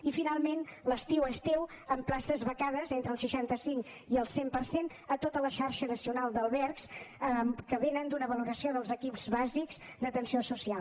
i finalment l’estiu és teu amb places becades entre el seixanta cinc i el cent per cent a tota la xarxa nacional d’albergs que vénen d’una valoració dels equips bàsics d’atenció social